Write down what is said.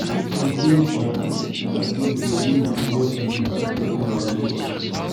we fit engage um in activities wey go promote healing and strengthen our relationships